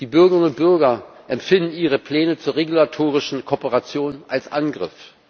Die Bürgerinnen und Bürger empfinden Ihre Pläne zur regulatorischen Kooperation als Angriff.